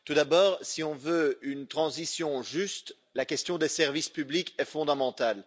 Tout d'abord, si on veut une transition juste, la question des services publics est fondamentale.